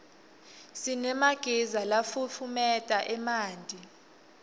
sinemagiza lafutfumeta emanti